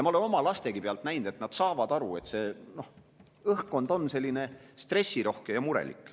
Ma olen oma lastegi pealt näinud, et nad saavad aru, et õhkkond on stressirohke ja murelik.